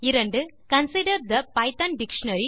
2கன்சைடர் the Python dictionary